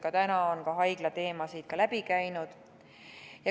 Ka täna on haiglateemad läbi käinud.